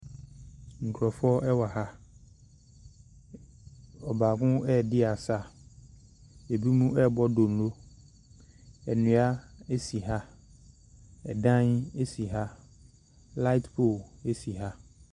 Nkrɔfoɔ wɔ ha, ɔbaako adi asa. Ebi mu ɛbɔ dondo. Nnua asi ha. Ɛdan asi ha. Lait pol asi ha.